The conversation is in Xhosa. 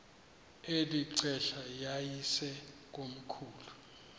eli xesha yayisekomkhulu